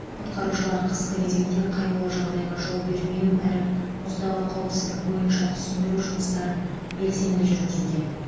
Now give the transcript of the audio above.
құтқарушылар қысқы кезеңде қайғылы жағдайға жол бермеу әрі мұздағы қауіпсіздік бойынша түсіндіру жұмыстарын белсенді жүргізуде